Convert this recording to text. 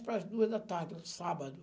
para as duas da tarde, sábado.